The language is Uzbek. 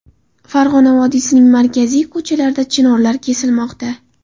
Farg‘ona vodiysining markaziy ko‘chalarida chinorlar kesilmoqda .